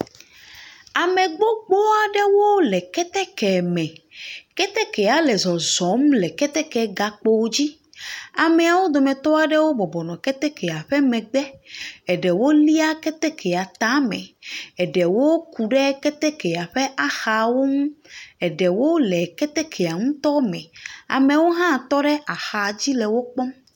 Ame gbogbo aɖewo le keteke me. Ketekea le zɔzɔm le keteke gakpo dzi. Ameawo dometɔ aɖewo le ketekea ƒe megbe. Eɖewo lia ketetkea tame eɖewo ku ɖe ketekea Axawo nu. Eɖewo le ketekea ŋutɔ me. Amewo hã tɔ ɖe axa dzi le wo kpɔm.